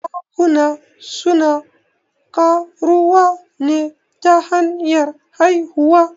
Zakuna suna ƙaruwa ne ta hanyar haihuwa.